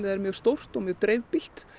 er mjög stórt og mjög dreifbýlt